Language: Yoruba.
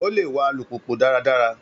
Ó lè wa alùpùpù dáradára.